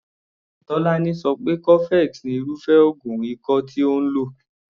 Tolani so pé cofex ni irúfé oògùn ikọ́ tí òun lò.